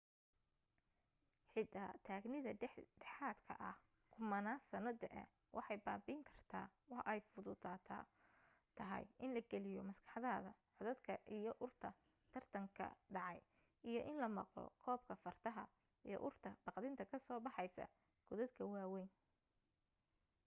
xitaa taagnida dhexdhexaadka ah kumanaan sano da'ah waxay babi'in karta waa ay fududa tahay in la geliyo maskaxdaada codadka iyo urta tartan ka dhacay iyo in la maqlo qoobka fardaha iyo urta baqdinta ka soo baxeysa godadka waa weyn